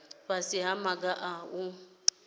fhasi ha maga a u